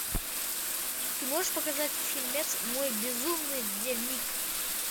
ты можешь показать фильмец мой безумный дневник